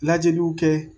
Lajɛliw kɛ